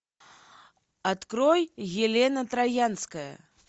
открой елена троянская